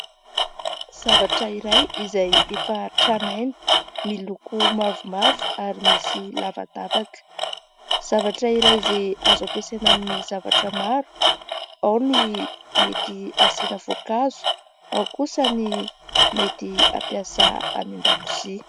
Zavatra iray izay efa tranainy, miloko mavomavo ary misy lavadavaka. Zavatra iray izay azo ampiasaina amin'ny zavatra maro : ao ny mety asiana voankazo, ao kosa ny mety hampiasa any an-dakozia.